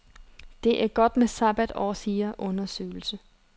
Det er godt med sabbatår, siger undersøgelse.